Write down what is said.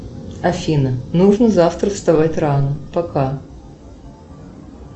афина нужно завтра вставать рано пока